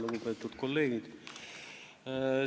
Lugupeetud kolleegid!